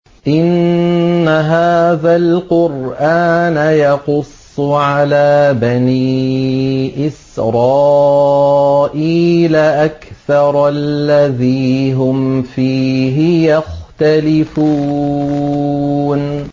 إِنَّ هَٰذَا الْقُرْآنَ يَقُصُّ عَلَىٰ بَنِي إِسْرَائِيلَ أَكْثَرَ الَّذِي هُمْ فِيهِ يَخْتَلِفُونَ